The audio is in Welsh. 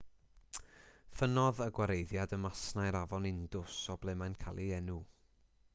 ffynnodd y gwareiddiad ym masnau'r afon indus o ble mae'n cael ei enw